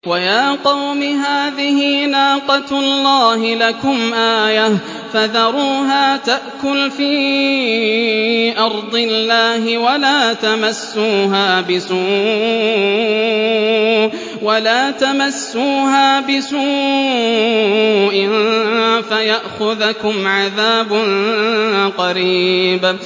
وَيَا قَوْمِ هَٰذِهِ نَاقَةُ اللَّهِ لَكُمْ آيَةً فَذَرُوهَا تَأْكُلْ فِي أَرْضِ اللَّهِ وَلَا تَمَسُّوهَا بِسُوءٍ فَيَأْخُذَكُمْ عَذَابٌ قَرِيبٌ